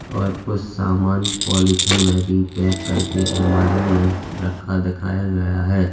और कुछ सामान पॉलिथीन में भी पैक करके अलमारी में रखा दिखाया गया है।